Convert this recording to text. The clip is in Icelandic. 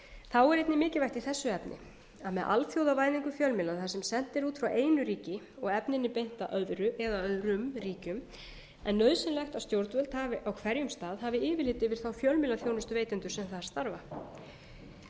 þá er einnig mikilvægt í þessu efni að með alþjóðavæðingu fjölmiðla þar sem sent er út frá einu ríki og efninu beint að öðru eða öðrum ríkjum er nauðsynlegt að stjórnvöld hafi á hverjum stað yfirlit yfir þá fjölmiðlaþjónustuveitendur sem þar starfa í